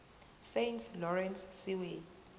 saint lawrence seaway